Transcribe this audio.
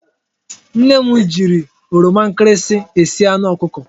Nne m jiri oroma nkịrịsị esi anụ ọkụkọ.